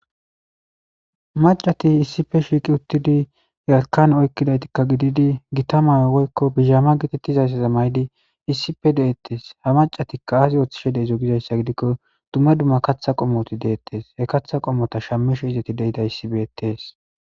macati issife shiiqi uttidi yeakan oykkidaytikka gididi gita mae woykko bizhama getettizayssaze maydi issipe de7ettes ha macatikka aasi ooththishe deizo gizayssa gidikko dumma dumma katha qomoti deettes he katha qommota shammisho izeti deida issi beettees